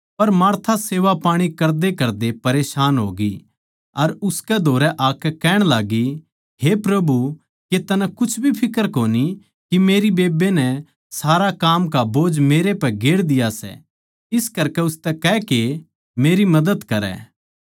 पर मार्था सेवापाणी करदेकरदे घबरागी अर उसकै धोरै आकै कहण लाग्गी हे प्रभु के तन्नै कुछ भी फिक्र कोनी के मेरी बेब्बे नै सारा काम का बोझ मेरै पै गेर दिया सै इस करकै उसतै कह के मेरी मदद करै